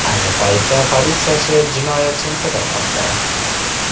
Ayni paytda politsiya jinoyatchini qidirmoqda.